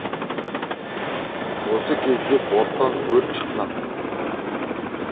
осы кезде борттан өрт шыққан